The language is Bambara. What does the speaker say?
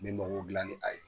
N bƐ makow dila ni a ye.